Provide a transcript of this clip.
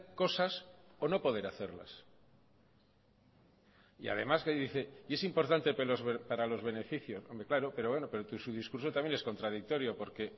cosas o no poder hacerlas y además que dice y es importante para los beneficios hombre claro pero bueno su discurso también es contradictorio porque